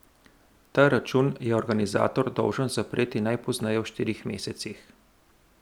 Ta račun je organizator dolžan zapreti najpozneje v štirih mesecih.